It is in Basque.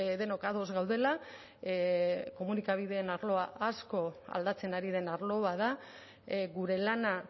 denok ados gaudela komunikabideen arloa asko aldatzen ari den arlo bat da gure lana